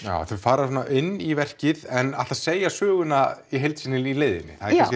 já þau fara inn í verkið en ætla að segja söguna í heild sinni í leiðinni